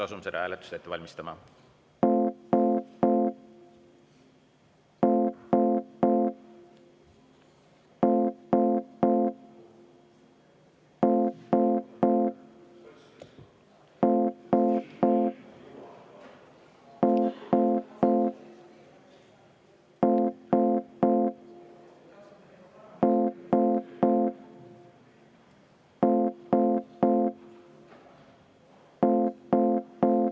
Asume seda hääletust ette valmistama.